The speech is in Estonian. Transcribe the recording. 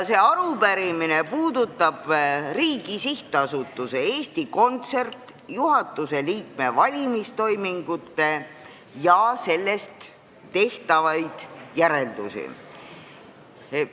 See arupärimine puudutab riigi sihtasutuse Eesti Kontsert juhatuse liikme valimise toiminguid ja nendest tehtavaid järeldusi.